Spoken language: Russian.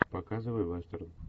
показывай вестерн